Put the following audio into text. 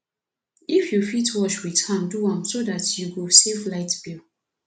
if yu fit wash wit hand do am so dat yu go save light bill